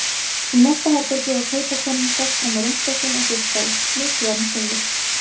Í næsta herbergi var kaupakonan sest fram á rúmstokkinn og geispaði, mikið var hún syfjuð.